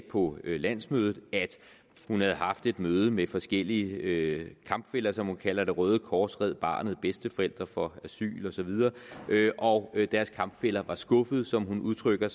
på landsmødet at hun havde haft et møde med forskellige kampfæller som hun kalder det røde kors red barnet bedsteforældre for asyl og så videre og deres kampfæller var skuffede som hun udtrykker